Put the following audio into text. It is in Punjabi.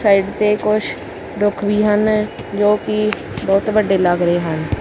ਸਾਈਡ ਤੇ ਕੁੱਛ ਰੁੱਖ ਵੀ ਹਨ ਜੋਕਿ ਬੋਹੁਤ ਵੱਡੇ ਲੱਗ ਰਹੇ ਹਨ।